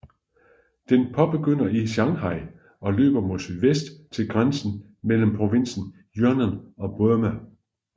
Den begynder i Shanghai og løber mod sydvest til grænsen mellem provinsen Yunnan og Burma